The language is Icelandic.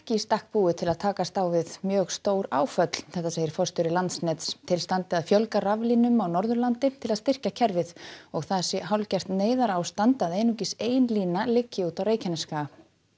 í stakk búið til að takast á við mjög stór áföll segir forstjóri Landsnets til standi að fjölga raflínum á Norðurlandi til að styrkja kerfið og það sé hálfgert neyðarástand að einungis ein lína liggi út á Reykjanesskaga